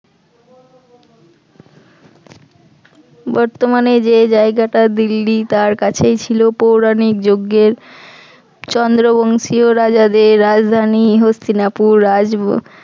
বর্তমানে যে জায়গাটা দিল্লী তার কাছেই ছিল পৌরাণিক যুগের চন্দ্রবংশীয় রাজাদের রাজধানী হস্তিনাপুর রাজব